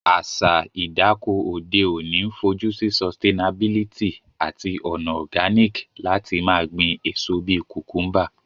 Àsa ìdáko òde ọ̀ní n fojusí sustianabilty àtí ònà organic lati ma gbín èso bi cucumber